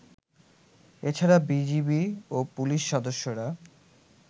এছাড়া বিজিবি ও পুলিশ সদস্যরা